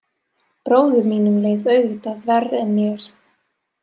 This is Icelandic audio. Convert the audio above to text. Bróður mínum leið auðvitað verr en mér.